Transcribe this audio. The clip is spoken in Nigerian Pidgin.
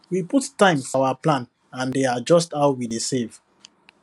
we put time for our plan and dey adjust how we dey save